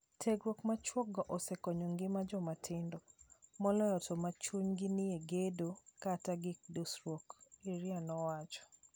"Tiegruok machuok go osekonyo ngima jomatindo. Moloyo to ma chuny gi nie gedo kat gige dusruok," Iria nowacho.